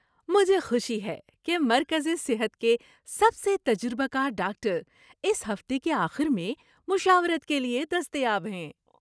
مجھے خوشی ہے کہ مرکزِ صحت کے سب سے تجربہ کار ڈاکٹر اس ہفتے کے آخر میں مشاورت کے لیے دستیاب ہیں۔